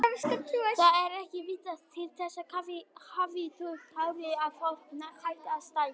Það er ekki vitað til þess kaffi hafi þau áhrif að fólk hætti að stækka.